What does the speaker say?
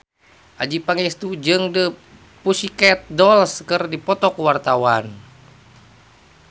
Adjie Pangestu jeung The Pussycat Dolls keur dipoto ku wartawan